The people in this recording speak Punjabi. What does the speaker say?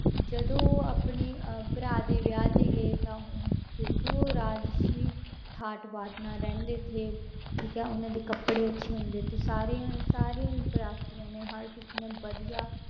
ਜਦੋਂ ਉਹ ਆਪਣੀ ਅਹ ਭਰਾ ਦੇ ਵਿਆਹ ਤੇ ਗਏ ਤਾਂ ਉਹ ਕਿਉਂਕਿ ਉਹ ਰਾਜ਼ਸੀ ਠਾਠ ਬਾਠ ਨਾਲ ਰਹਿੰਦੇ ਥੇ ਠੀਕ ਹੈ ਉਹਨਾਂ ਦੇ ਕੱਪੜੇ ਅੱਛੇ ਹੁੰਦੇ ਤੇ ਸਾਰਿਆਂ ਸਾਰਿਆਂ ਬਰਾਤੀਆਂ ਨੇ ਹਰ ਕਿਸੇ ਨੇ ਵਧੀਆ